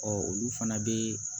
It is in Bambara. olu fana bɛ